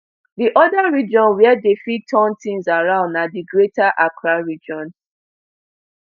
di oda region wia dey fit turn tins around na di greater accra region